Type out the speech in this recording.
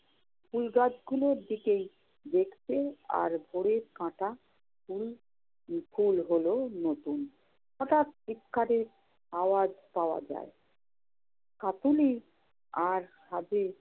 ফুল গাছগুলোর দিকেই দেখছে আর ভোরের কাঁটা কুল~ কুল হল নতুন। হঠাৎ চিৎকারের আওয়াজ পাওয়া যায়। কাকলি আর হাজে